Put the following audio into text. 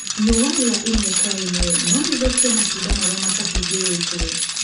riũa riaimwe kwa ĩmwe no rĩthũkie matunda marĩa matahumbĩrĩtwo.